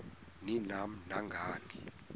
ni nam nangani